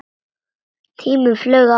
Tíminn flaug áfram.